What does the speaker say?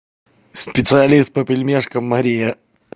специалист по пельмешкам мария